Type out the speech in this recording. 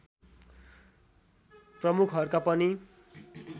प्रमुखहरूका पनि